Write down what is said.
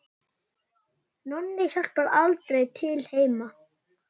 Nonni hjálpar aldrei til heima.